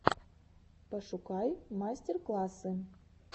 пошукай мастер классы